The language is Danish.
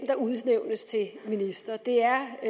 der udnævnes til minister det er